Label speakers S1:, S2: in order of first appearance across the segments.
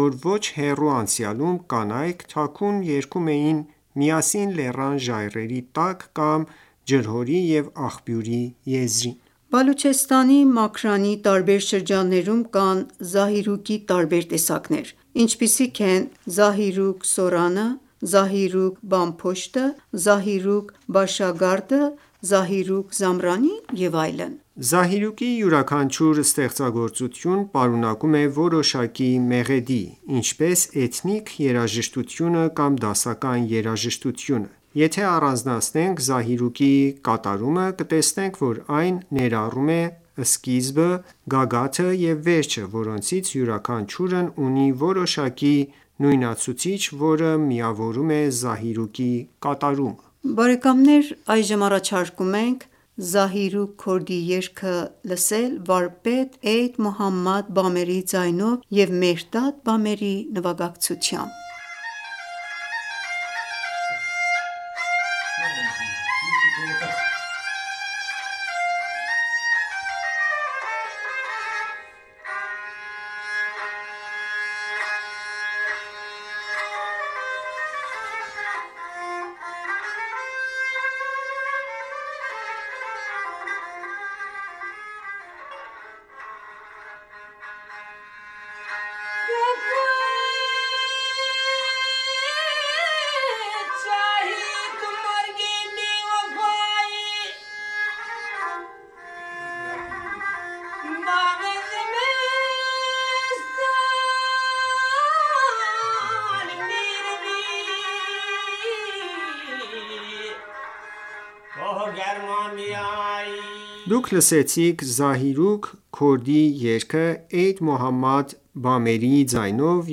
S1: որ ոչ հեռու անցյալում կանայք թաքուն երգում էին միասին լեռան ժայռերի տակ, կամ, ջրհորի ու աղբյուրի եզրին։
S2: Բալուչեստանի Մաքրանի տարբեր շրջաններում կան զահիրուկի տարբեր տեսակներ։ Ինչպիսիք են Զահիրոկ Սորանը, Զահիրոկ Բամ փոշտը, Զահիրոկ Բաշագարդը, Զահիրոկ Զամրանին և...
S1: Զահիրուկի յուրաքանչյուր ստեղծագործություն պարունակում է որոշակի մեղեդի, ինչպես էթնիկ երաժշտությունը կամ դասական երաժշտությունը: Եթե ​​առանձնացնեք Զահիրուկի կատարումը, կտեսնեք, որ այն ներառում է սկիզբը, գագաթը և վերջը, որոնցից յուրաքանչյուրն ունի որոշակի նույնացուցիչ, որը միավորում է Զահիրուկի
S2: կատարումը: Առաջարկում ենք լսել «Զահիրուկ Քորդի»-ի երգը վարպետ Էյդ Մոհամմադ Բամերիի ձայնով և Մեհրդադ Բամերիի նվագակցությամբ։
S1: Դուք լսեցիք «Զահիրուկ Քորդի»-ի երգը Էյդ Մոհամմադ Բամերիի ձայնով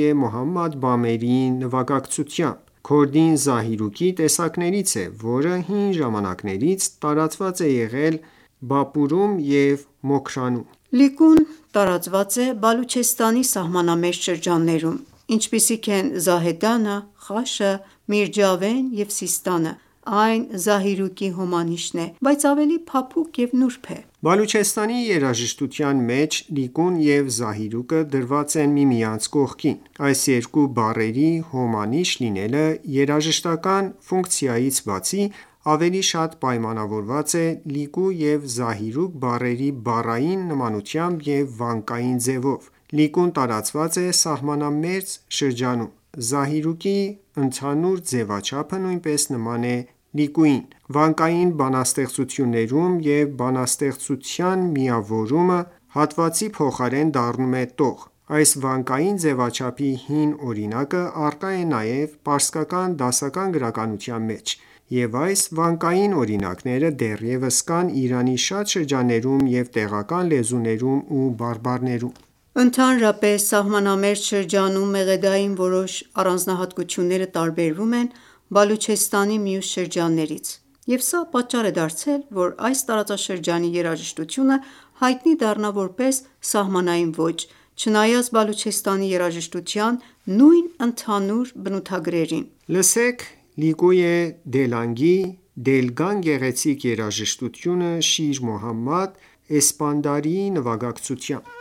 S1: և Մեհրդադ Բամերիի նվագակցթույամբ: Քորդին զահիրուկի տեսակներից է, որը հին ժամանակներից տարածված է եղել Բապուրում և Մոքրանում։
S2: Լիկուն տարածված է Բալուչեստանի սահմանամերձ շրջաններում, ինչպիսիք են Զահեդանը, Խաշը, Միրջավեն և Սիստանը, այն Զահիրուկի հոմանիշն է, բայց ավելի փափուկ և նուրբ է:
S1: Բալուչեստանի երաժշտության մեջ Լիկուն և Զահիրուկը դրված են միմիանց կողքին։ Այս երկու բառերի հոմանիշ լինելը երաժշտական ​​ֆունկցիայից բացի ավելի շատ պայմանավորված է Լիկու և Զահիրուկ բառերի բառային նմանությամբ և վանկային ձևով։ Լիկուն տարածված է սահմանամերձ շրջանում։ Զահիրուկի ընդհանուր ձևաչափը նույնպես նման է Լիկուին: Վանկային բանաստեղծություններում բանաստեղծության միավորը հատվածի փոխարեն դառնում է տող։ Այս վանկային ձևաչափի հին օրինակը առկա է նաև պարսկական դասական գրականության մեջ, և այս վանկային օրինակները դեռևս կան Իրանի շատ շրջաններում և տեղական լեզուներում ու բարբառներում:
S2: Ընդհանրապես, սահմանամերձ շրջանում մեղեդային որոշ առանձնահատկությունները տարբերվում են Բալուչեստանի մյուս շրջաններից և սա պատճառ է դարձել, որ այս տարածաշրջանի երաժշտությունը հայտնի դառնա որպես «սահմանային ոճ»՝ չնայած Բալուչեստանի երաժշտության նույն ընդհանուր բնութագրերին:
S1: Լսենք «Լիկույե Դելգանի» գեղեցիկ երաժշտությունը Շիր-Մոհամմադ Էսպանդարի նվագակցությամբ։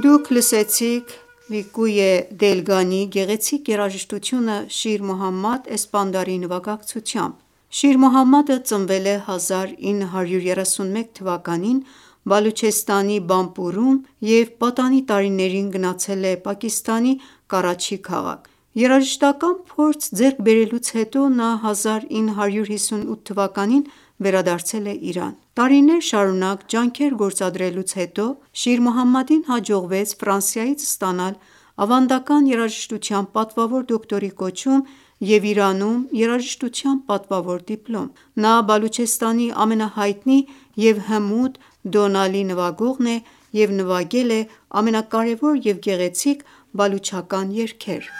S2: Դուք լսեցիք «Լիլկույե Դելգանի»-ի գեղեցիկ երաժշտությունը Շիր Մոհամմեդ Էսպանդարի նվագակցությամբ։ Շիր Մոհամմադը ծնվել է 1931 թվականին Բալուչեստանի Բամպուրում և պատանի տարիներին գնացել է Պակիստանի Կարաչի քաղաք: Երաժշտական ​​փորձ ձեռք բերելուց հետո 1958 թվականին վերադարձել է Իրան։ Տարիներ շարունակ ջանքեր գործադրելուց հետո Շիր Մոհամմադին հաջողվեց ստանալ ավանդական երաժշտության պատվավոր դոկտորի կոչում և Իրանում երաժշտության պատվավոր դիպլոմ: Նա Բալուչեստանի ամենահայտնի և հմուտ Դոնալի նվագողն է և նվագել է ամենակարևոր և գեղեցիկ բալուչական երգեր։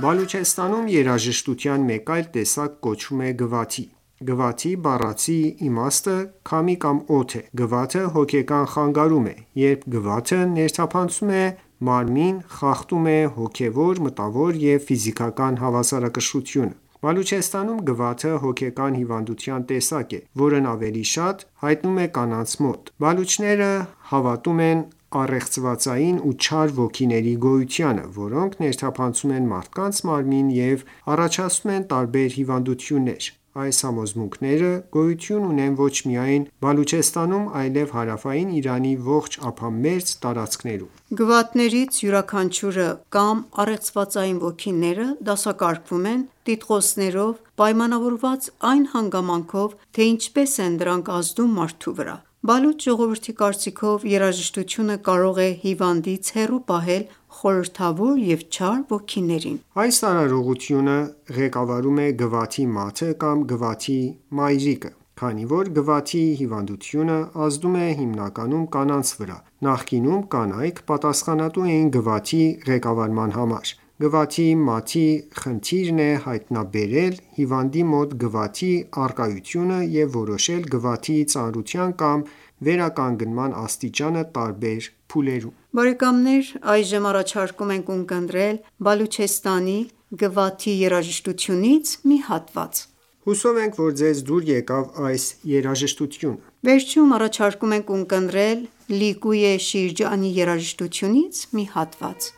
S1: Բալուչեստանում երաժշտության մեկ այլ տեսակ կոչվում է Գվաթի: Գվաթի բառացի իմաստը քամի կամ օդ է: Գվաթը հոգեկան խանգարում է, երբ Գվաթը ներթափանցում է մարմին խախտում է հոգևոր, մտավոր և ֆիզիկական հավասարակշռությունը: Բալուչեստանում Գվաթը հոգեկան հիվանդության տեսակ է, որն ավելի շատ հայտնվում է կանանց մոտ։ Բալուչները հավատում են առեղծվածային ու չար ոգիների գոյությանը, որոնք ներթափանցում են մարդկանց մարմին և առաջացնում են տարբեր հիվանդություններ։ Այս համոզմունքները գոյություն ունեն ոչ միայն Բալուչեստանում, այլև հարավային Իրանի ողջ ափամերձ տարածքներում:
S2: Գվաթներից յուրաքանչյուրը կամ առեղծվածային ոգիները դասակարգվում են տիտղոսներով՝ պայմանավորված այն հանգամանքով, թե ինչպես են դրանք ազդում մարդու վրա: Բալուչ ժողովրդի կարծիքով՝ երաժշտությունը կարող է հիվանդից հեռու պահել խորհրդավոր և չար ոգիներին։
S1: Այս արարողությունը ղեկավարում է «Գվաթի մաթ»-ը կամ «Գվաթի մայրիկը»: Քանի որ Գվաթի հիվանդությունը ազդում է հիմնականում կանանց վրա, նախկինում կանայք պատասխանատու էին Գվաթի ղեկավարման համար: Գվաթի մաթի ​​խնդիրն է հայտնաբերել հիվանդի մոտ Գվաթի առկայությունը և որոշելԳվաթի ծանրության կամ վերականգնման աստիճանը տարբեր
S2: փուլերում: Լսենք Բալուչեստանի Գվաթի երաժշտությունից մի հատված:
S1: Հուսով ենք, որ ձեզ դուր եկավ այս երաժշտությունը:
S2: Վերջում առաջարկում ենք ունկնդրել «Լիկույե Շիրջանի» երաժշտությունից մի հատված: